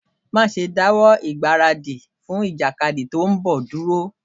Má ṣe dáwọ́ ìgbáradì fún ìjàkadì tí ń bọ̀ dúró.